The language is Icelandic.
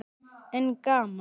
En gaman.